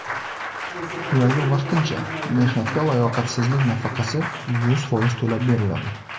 Ularga vaqtincha mehnatga layoqatsizlik nafaqasi yuz foiz to‘lab beriladi.